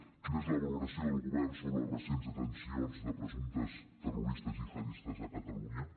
quina és la valoració del govern sobre les recents detencions de presumptes terroristes gihadistes a catalunya